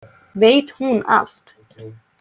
Veit hún allt?